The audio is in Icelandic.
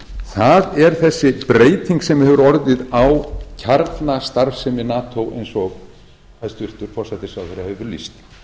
það er þessi breyting sem hefur orðið á kjarnastarfsemi nato eins og hæstvirtur forsætisráðherra hefur lýst